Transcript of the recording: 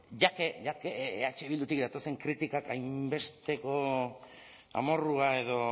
ya que ya que eh bildutik datozen kritikak hainbesteko amorrua edo